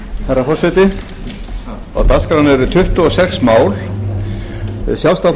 forseti á dagskránni eru tuttugu og sex mál sjálfstæðisflokkurinn hefur verið fylgjandi